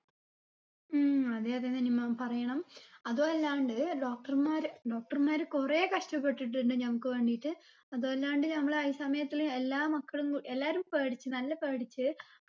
ഉം അതെ അതെ നനിമ്മ പറയണം അതു അല്ലാണ്ട് doctor മാര് doctor മാര് കുറേ കഷ്ട്ടപെട്ടിട്ടുണ്ട് ഞങ്ങക്ക് വേണ്ടീട്ട് അതും അല്ലാണ്ട് നമ്മളെ അയ സമയത്തില് എല്ലാ മക്കളും എല്ലാരും പേടിച്ച് നല്ല പേടിച്ച്